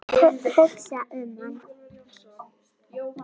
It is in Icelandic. Hugsa um hann.